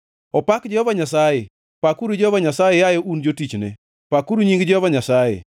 Opak Jehova Nyasaye! Pakuru Jehova Nyasaye, yaye un jotichne, pakuru nying Jehova Nyasaye.